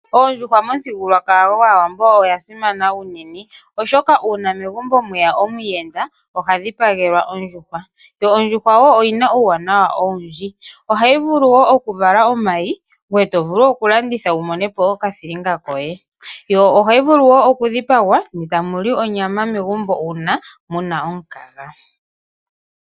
Ondjuhwa momuthigululwakalo gwaawambo oya simana uunene, oshoka uuna megumbo mweya omuyenda oha dhipagelwa ondjuhwa. Ondjuhwa oyina wo uuwanawa owundji, ohayi vulu wo oku vala omayi, ngwe to vulu oku landitha wu monepo oka thilinga koye, yo otayi vulu oku dhipagwana ne tamuli onyama megumbo una muna omukaga.